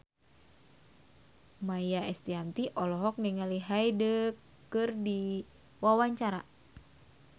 Maia Estianty olohok ningali Hyde keur diwawancara